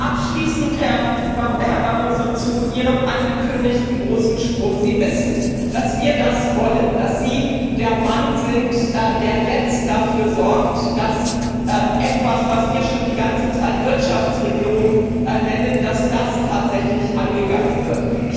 Abschließend, Herr Barroso, zu Ihrem angekündigten großen Sprung Sie wissen, dass wir wollen, dass Sie der Mann sind, der jetzt dafür sorgt, dass etwas, was wir schon die ganze Zeit Wirtschaftsregierung nennen, tatsächlich angegangen wird.